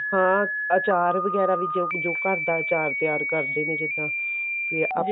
ਹਾਂ ਆਚਾਰ ਵਗੈਰਾ ਵੀ ਜੋ ਘਰਦਾ ਚਾਰ ਤਿਆਰ ਕਰਦੇ ਨੇ ਜਿੱਦਾਂ ਵੀ ਆਪਣਾ